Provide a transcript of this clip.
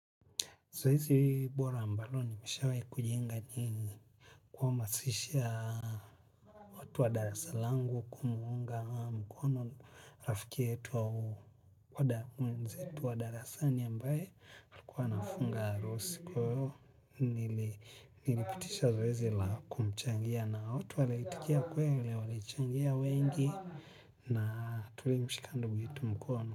Zoezi bora ambalo nimeshawai kujiunga ni kwamasishia watu wa darasa langu kumuunga mkono rafiki yetu wa wadamwenzetu wa darasani ambaye alikuwa anafunga arusi kwao nilipitisha zoezi la kumchangia na watu waliitikia kweli walichangia wengi na tulimshika ndugu yetu mkono.